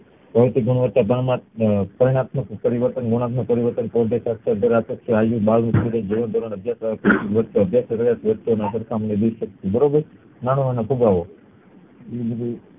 ભૌતિકગુણવતાર પરિણ પરિણાત્મક પરિવર્તન બરોબર નાણું અને ફુગાવો